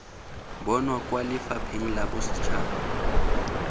bonwa kwa lefapheng la bosetšhaba